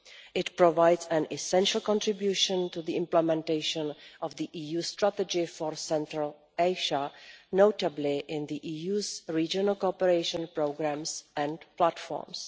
It provides an essential contribution to the implementation of the EU Strategy for Central Asia, notably in the EU's regional cooperation programmes and platforms.